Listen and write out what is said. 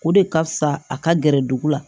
O de ka fisa a ka gɛrɛ dugu la